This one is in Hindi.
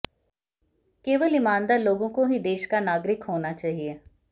केवल ईमानदार लोगों को ही देश का नागरिक होना चाहिए